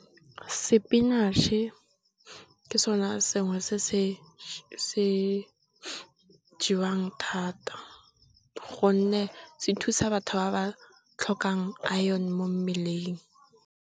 Sepinatšhe ke sone sengwe se se jewang thata gonne se thusa batho ba ba tlhokang aene mo mmeleng.